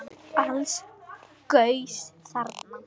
Alls gaus þarna